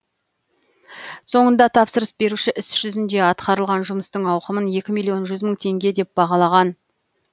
соңында тапсырыс беруші іс жүзінде атқарылған жұмыстың ауқымын екі миллион жүз мың теңге деп бағалаған